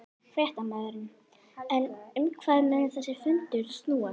Fréttamaður: En um hvað mun þessi fundur snúast?